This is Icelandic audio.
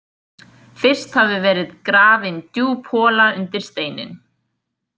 Fyrst hafi verið grafin djúp hola undir steininn.